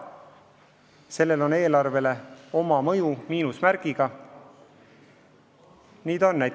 Sellel on eelarvele küll miinusmärgiga mõju.